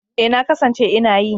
E, na kasance ina yi.